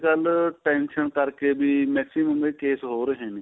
ਕੱਲ tension ਕਰਕੇ ਵੀ maximum ਇਹ case ਹੋ ਰਹੇ ਨੇ